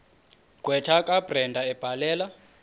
gqwetha kabrenda ebhalela